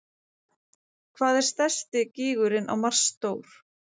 Skilningur á þessum fræðum var í fyrstu mjög takmarkaður og árangurinn eftir því.